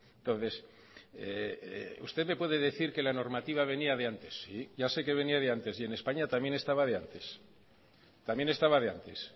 entonces usted me puede decir que la normativa venía de antes sí ya sé que venía de antes y en españa también estaba de antes también estaba de antes